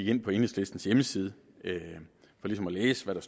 ind på enhedslistens hjemmeside for ligesom at læse hvad